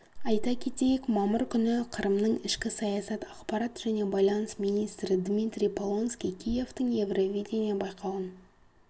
айта кетейік мамыр күні қырымның ішкі саясат ақпарат және байланыс министрі дмитрий полонский киевтің евровидение байқауын